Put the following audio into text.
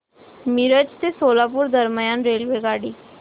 मिरज ते सोलापूर दरम्यान रेल्वेगाडी